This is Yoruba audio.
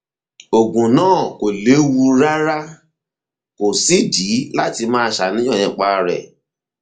oògùn náà kò léwu rárá kò sídìí láti máa ṣàníyàn nípa rẹ